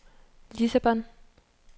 Lissabon